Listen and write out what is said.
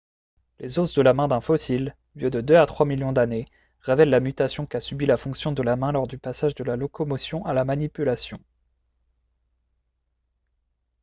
les os de la main d'un fossile vieux de deux à trois millions d'années révèlent la mutation qu'a subit la fonction de la main lors du passage de la locomotion à la manipulation